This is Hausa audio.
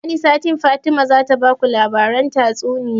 Wani satin Fatima zata baku labaran tatsuniya